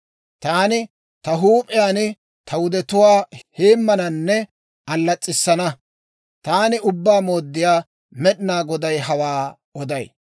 Taani ta huup'iyaan ta wudetuwaa heemmananne allas's'issana. Taani Ubbaa Mooddiyaa Med'inaa Goday hawaa oday.